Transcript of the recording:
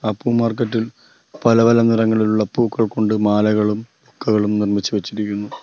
ആ പൂ മാർക്കറ്റ് ഇൽ പല പല നിറങ്ങളിലുള്ള പൂക്കൾ കൊണ്ട് മാലകളും ബൊക്കകളും നിർമ്മിച്ചു വെച്ചിരിക്കുന്നു.